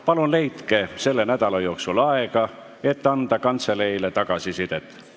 Palun leidke selle nädala jooksul aega, et anda kantseleile tagasisidet!